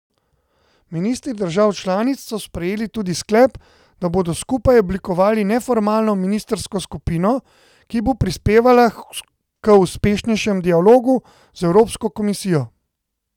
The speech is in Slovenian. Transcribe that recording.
Ministri držav članic so sprejeli tudi sklep, da bodo skupaj oblikovali neformalno ministrsko skupino, ki bo prispevala k uspešnejšemu dialogu z Evropsko komisijo.